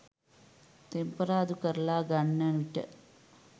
තෙම්පරාදු කරලා ගන්නවිට